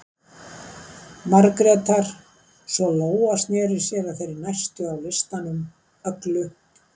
Margrétar, svo Lóa sneri sér að þeirri næstu á listanum, Öglu